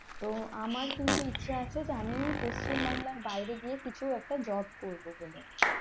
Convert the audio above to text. তো আমার কিন্তু ইচ্ছা আছে আমি পশ্চিম বাংলার বাইরে গিয়ে কিছু একটা job করব বলে